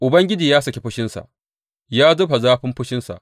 Ubangiji ya saki fushinsa; ya zuba zafin fushinsa.